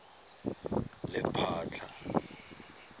lephatla